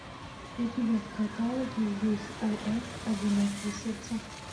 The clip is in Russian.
у тебя в каталоге есть ос одинокие сердца